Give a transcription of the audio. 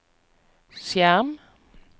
skjerm